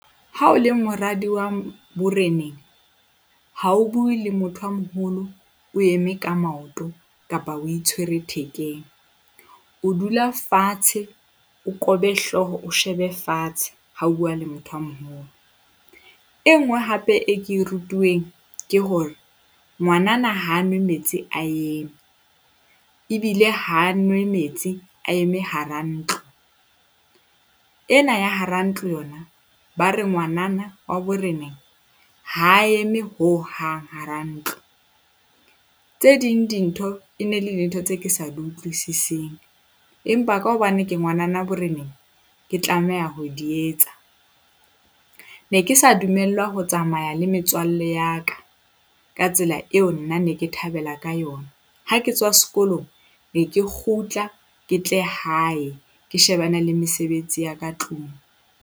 Ha o le moradi wa boreneng, ha o bue le motho a moholo o eme ka maoto kapa o itshwere thekeng. O dula fatshe, o kobe hlooho, o shebe fatshe ha o bua le motho a moholo. E nngwe hape e ke e rutuweng ke hore ngwanana ha nwe metsi a eme ebile ha nwe metsi a eme hara ntlo. Ena ya hara ntlo yona, ba re ngwanana wa boreneng ha eme hohang hara ntlo. Tse ding dintho e ne le dintho tse ke sa di utlwisising, empa ka hobane ke ngwanana boreneng, ke tlameha ho di etsa. Ne ke sa dumellwa ho tsamaya le metswalle ya ka, ka tsela eo nna ne ke thabela ka yona. Ha ke tswa sekolong ne ke kgutla ke tle hae ke shebane le mesebetsi ya ka tlung.